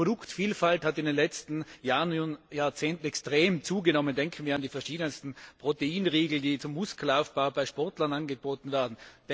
Auch die Produktvielfalt hat in den letzten Jahren und Jahrzehnten extrem zugenommen Denken wir an die verschiedensten Proteinriegel, die zum Muskelaufbau bei Sportlern angeboten werden.